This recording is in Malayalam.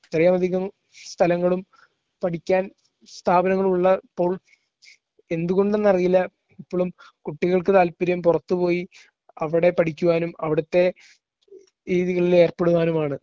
ഇത്രയും അധികം സ്ഥലങ്ങളും പഠിക്കാൻ സ്ഥാപനങ്ങളും ഉള്ളപ്പോൾ എന്തുകൊണ്ടെന്നറിയില്ല ഇപ്പളും കുട്ടികൾക്ക് താൽപര്യം പുറത്തുപോയി അവിടെ പഠിക്കുവാനും അവിടുത്തെ രീതികളിൽ ഏർപ്പെടുവാനുമാണ്.